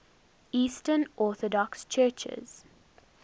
eastern orthodox churches